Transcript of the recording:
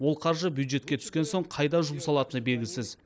ол қаржы бюджетке түскен соң қайда жұмсалатыны белгісіз